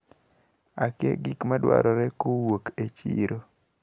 Akia gimadwarore kowuok e chiro.